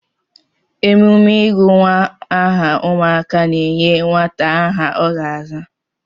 Emume ịgụ nwa aha ụmụaka na-enye nwata aha ọ ga-aza.